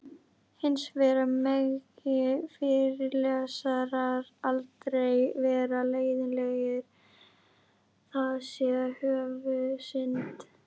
Hins vegar megi fyrirlesarar aldrei vera leiðinlegir, það sé höfuðsynd.